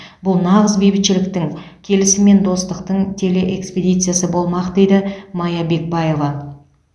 бұл нағыз бейбітшіліктің келісім мен достықтың телеэкспедициясы болмақ дейді мая бекбаева